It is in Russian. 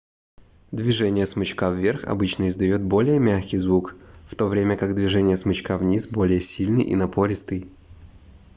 движение смычка вверх обычно издает более мягкий звук в то время как движение смычка вниз более сильный и напористый